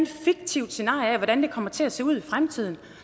fiktivt scenarie af hvordan det kommer til at se ud i fremtiden